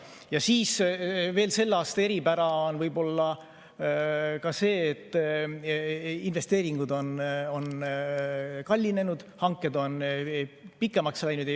Ja veel on võib-olla selle aasta eripära ka see, et investeeringud on kallinenud, hanked on pikemaks läinud.